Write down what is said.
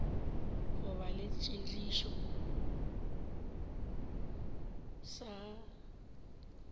go ba le seširo sa